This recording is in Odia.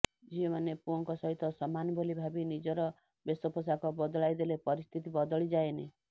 ଝିଅମାନେ ପୁଅଙ୍କ ସହିତ ସମାନ ବୋଲି ଭାବି ନିଜର ବେଶପୋଷାକ ବଦଳାଇ ଦେଲେ ପରିସ୍ଥିତି ବଦଳି ଯାଏନି